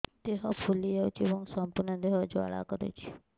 ଦେହ ଫୁଲି ଯାଉଛି ଏବଂ ସମ୍ପୂର୍ଣ୍ଣ ଦେହ ଜ୍ୱାଳା କରୁଛି